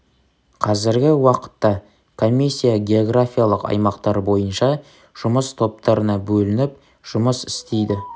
қазіргі уақытта комиссия географиялық аймақтар бойынша жұмыс топтарына бөлініп жұмыс істейді